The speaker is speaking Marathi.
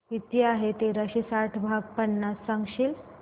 किती आहे तेराशे साठ भाग पन्नास सांगशील